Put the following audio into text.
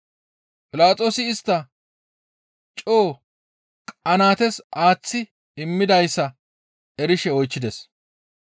Philaxoosi istta coo qanaates aaththi immidayssa erishe oychchides.